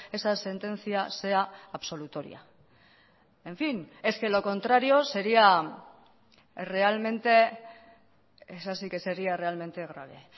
esa sentencia sea absolutoria en fin es que lo contrario sería realmente esa sí que sería realmente grave